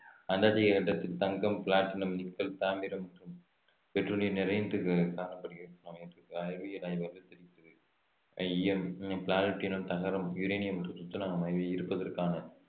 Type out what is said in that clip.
Antarctica கண்டத்தில் தங்கம் platinum nickel தாமிரம் மற்றும் பெட்ரோலியம் நிறைந்து காணப்படுகிறது என்று அறிவியல் ஆய்வ~ தெரிவிக்கிறது ஈயம் தகரம் யுரேனியம் மற்றும் துத்தநாகம் ஆகியவை இருப்பதற்கான